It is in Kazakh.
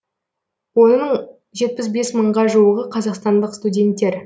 оның жетпіс бес мыңға жуығы қазақстандық студенттер